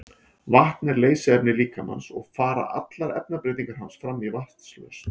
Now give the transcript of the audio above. vatn er leysiefni líkamans og fara allar efnabreytingar hans fram í vatnslausn